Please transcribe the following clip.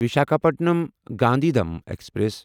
Visakhapatnam Gandhidham express